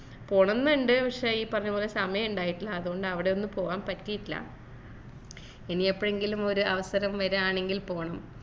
പോണംന്നു ഇണ്ട് പക്ഷെ ഈ പറഞ്ഞപോലെ സമയിണ്ടായിട്ടില്ല അതോണ്ട് അവിടെ ഒന്നു പോവാൻ പറ്റിട്ടില്ല ഇനി എപ്പോഴെങ്കിലും ഒരു അവസരം വരികയാണെങ്കിൽ പോണം